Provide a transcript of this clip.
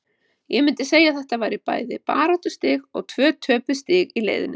Ég myndi segja að þetta væri bæði baráttustig og tvö töpuð stig í leiðinni.